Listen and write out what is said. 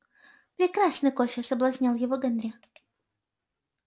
прекрасный кофе соблазнял его генри